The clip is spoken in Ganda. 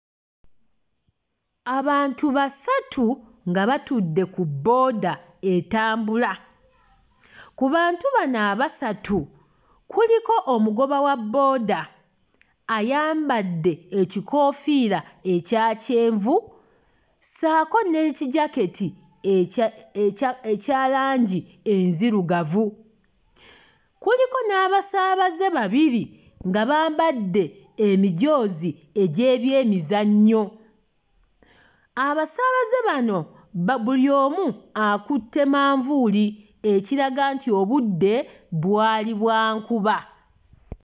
Abantu basatu nga batudde ku booda etambula. Ku bantu bano abasatu kuliko omugoba wa booda ayambadde ekikoofiira ekya kyenvu ssaako n'ekijakati ekya ekye akya langi enzirugavu. Kuliko n'abasaabaze babiri nga bambadde emijoozi egy'ebyemizannyo. Abasaabaze bano ba buli omu akutte manvuuli ekiraga nti obudde bwali bwa nkuba.